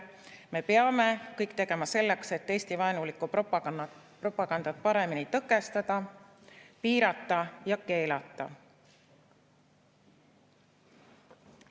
Me peame kõik tegema selleks, et Eesti-vaenulikku propagandat paremini tõkestada, piirata ja keelata.